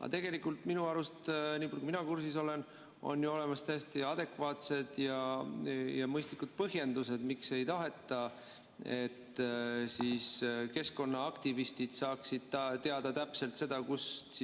Aga tegelikult minu arust, niipalju kui mina kursis olen, on ju olemas täiesti adekvaatsed ja mõistlikud põhjendused, miks ei taheta, et keskkonnaaktivistid saaksid teada täpselt seda, kus